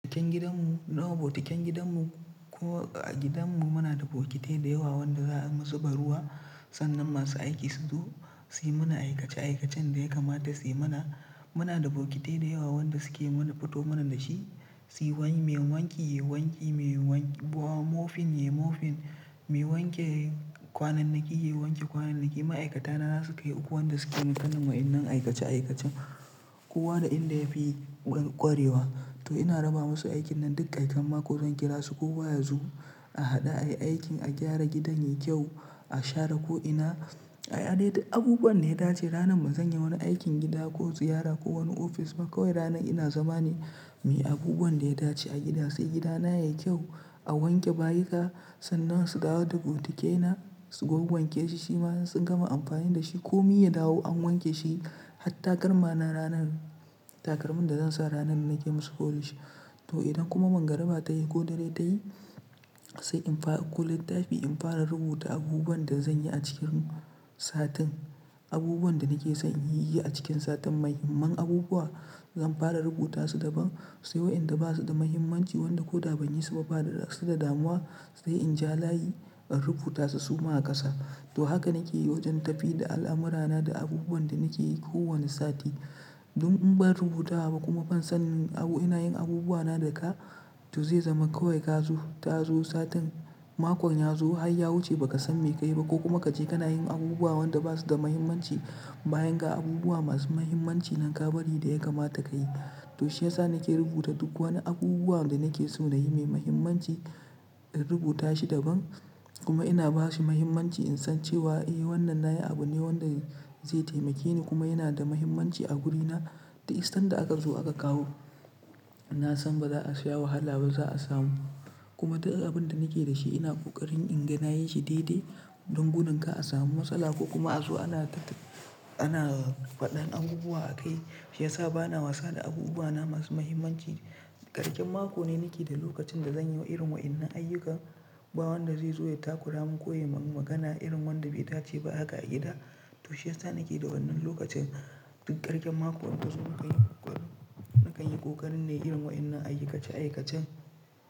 Keken gidanmu, na wa bokitan gidanmu, ko a gidanmu muna da bokitai da yawa wanda zamu zuba ruwa, sannan masu aiki su zo suyi mana aikace aikacen da ya kamata suyi mana. Muna da bokitai da yawa wanda suke mana fito mana dashi, su wani mai wanki, yi wanki, mai wanki, mai mofin yayi mofin, mai wanke kwanannaki, yayi wanke kwanannaki. Ma'aikata na za su kai uku wanda suke yin wa'innan aikace aikacen. Kowa da inda yafi wani ƙwarewa. To ina raba masu aikin nan duk ƙarshen mako zan kira su kowa ya zo, a haɗu a yi aikin, a gyara gidan yayi kyau, a share ko ina. A adade abubuwan da ya dace. Ranar ba zan yi wani aikin gida ko ziyara ko wani ofis ba kawai ranar ina zama ne mai abubuwan da ya dace a gida. Sai gidana yayi kyau a wanke bayika sannan su dawo da bokitakena su wawwanke shi, shi ma sun gama amfani dashi ko mi ya dawo an wanke shi. Har takalmana ranan, takalmin da zan sa ranan nake masu folish. To idan kuma mangara ba ta yi ko dare ta yi, sai in ɗauko littafii in fara rubuta abubuwan da zan yi acikin satin. Abubuwan da nake so inyi a cikin satin mai. Muhimman abubuwa zan fara rubuta su daban, sai wa inda basu da muhimmanci wanda ko da ban yi su ba fa da raɗa su da damuwa, sai in ja layi in rubuta su suma a ƙasa. To haka nake yi wajen tafii da al'amurana da abubuwan da nake yi kowani sati. Dun in bar rubuta ba kuma ban san abu ina yin abubuwana da ka, to zai zama kawai ka zo, ta zo satin, makon ya zo har ya wuce ba ka san me ka yi ba ko kuma ka je kana yin abubuwan da basu da muhimmanci bayan ga abubuwa masu muhimmanci nan ka bari da ya kamata ka yi. To shi yasa nake rubuta duk wani abubuwa da nake so na yi mai muhimmanci in rubuta shi daban kuma ina ba shi muhimmanci in san cewa eh wannan na yi abu ne wanda zai taimake ni kuma yana da muhimmanci a gudina. Da san da aka zo aka kawo, na san ba za a sha wahala ba za a samu. Kuma duk abunda nake da shi ina ƙoƙarin in ga na yin shi daidai don gudin ka a samu matsala ko kuma a zo ana ta ta, ana faɗan abubuwa a kai. Shi yasa bana wasa da abubuwana masu muhimmanci. Ƙarshen mako ne nake da lokacin da zan yi wa irin wa'innan ayyuka, ba wanda zai zo ya takura mun ko ya yi mun magana irin wanda bai dace ba haka a gida. To shi yasa nake da wannan lokacin duk ƙarshen mako idan yazo nakan yi ƙoƙarin nayi irin wa'innan aikace aikacen.